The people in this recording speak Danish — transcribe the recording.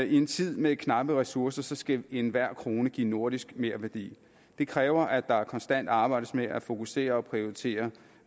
i en tid med knappe ressourcer skal enhver krone give nordisk merværdi det kræver at der konstant arbejdes med at fokusere og prioritere